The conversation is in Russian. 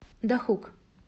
дахук